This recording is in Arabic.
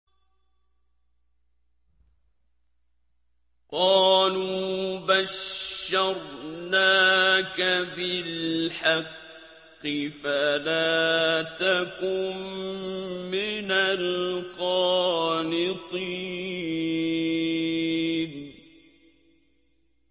قَالُوا بَشَّرْنَاكَ بِالْحَقِّ فَلَا تَكُن مِّنَ الْقَانِطِينَ